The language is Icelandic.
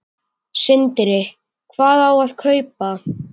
Sindri: Hvað á að kaupa?